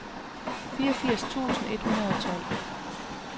fireogfirs tusind et hundrede og tolv